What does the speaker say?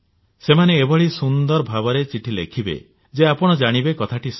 ସେମାନେ ସୁନ୍ଦର ଭାବରେ ଏଭଳି ଚିଠି ଲେଖିବେ ଯେ ଆପଣ ଜାଣିବେ କଥାଟି ସତ